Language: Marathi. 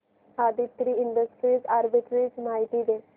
आदित्रि इंडस्ट्रीज आर्बिट्रेज माहिती दे